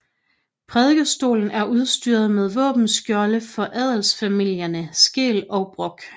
Prædikestolen er udstyret med våbenskjolde for adelsfamilierne Skeel og Brock